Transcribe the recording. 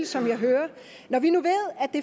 som jeg hører det når vi nu ved